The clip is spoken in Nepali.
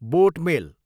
बोट मेल